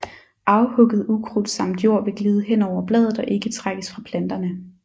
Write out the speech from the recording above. Afhugget ukrudt samt jord vil glide hen over bladet og ikke trækkes fra planterne